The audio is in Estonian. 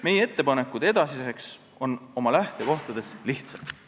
Meie ettepanekud edasiseks on oma lähtekohtades lihtsad.